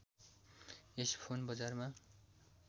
यस phone बजारमा